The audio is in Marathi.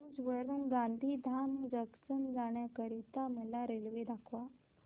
भुज वरून गांधीधाम जंक्शन जाण्या करीता मला रेल्वे दाखवा